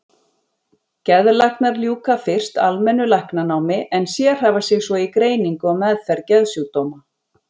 Geðlæknar ljúka fyrst almennu læknanámi en sérhæfa sig svo í greiningu og meðferð geðsjúkdóma.